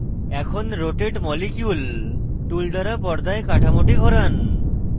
এখন rotate molecule tool দ্বারা পর্দায় কাঠামোটি ঘোরান